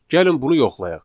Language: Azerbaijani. Gəlin bunu yoxlayaq.